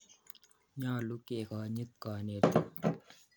Nyalu kekonyit kanetik.